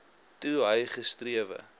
toe hy gesterwe